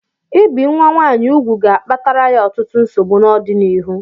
Ị bi nwa nwaanyị úgwù ga-akpatara ya ọtụtụ nsogbu n'ọdịnịhu